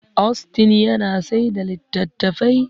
Austin yana saida latattafai